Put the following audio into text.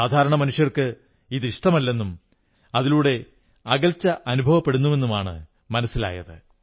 സാധാരണ മനുഷ്യർക്ക് ഇത് ഇഷ്ടമല്ലെന്നും അതിലൂടെ അകൽച്ച അനുഭവപ്പെടുന്നുമെന്നാണ് മനസ്സിലായത്